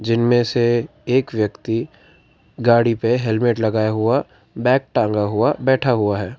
इनमें से एक व्यक्ति गाड़ी पे हेलमेट लगाया हुआ बैग टांगा हुआ बैठा हुआ है।